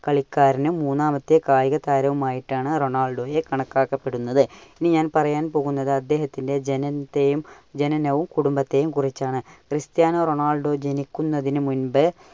കളിക്കാരനും മൂന്നാമത്തെ കായികതാരവുമായിട്ടാണ് റൊണാൾഡോയെ കണക്കാക്കപെടുന്നത്. ഇനി ഞാൻ പറയാൻ പോകുന്നത് അദ്ദേഹത്തിന്റെ ജനനത്തെയും ജനനവും കുടുംബത്തെയും കുറിച്ചാണ്. . ക്രിസ്ത്യാനോ റൊണാൾഡോ ജനിക്കുന്നതിനു മുമ്പ്